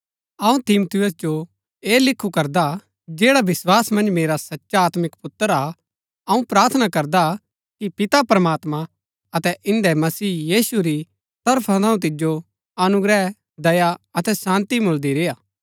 अऊँ तिमुथियुस जो ऐह लिखु करदा जैडा विस्वास मन्ज मेरा सचा आत्मिक पुत्र हा अऊँ प्रार्थना करदा कि पिता प्रमात्मां अतै इन्दै मसीह यीशु री तरफा थऊँ तिजो अनुग्रह दया अतै शान्ती मुळदी रेय्आ